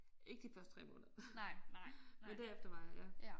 Ikke de første 3 måneder. Men derefter var jeg ja